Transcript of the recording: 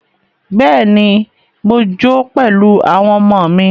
Bẹ́ẹ̀ni, mo jó pẹ̀lú àwọn ọmọ mí.